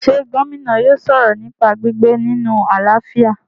ṣé Gómìnà yóò sọ̀rọ̀ nípa gbígbé nínu àlàáfíà?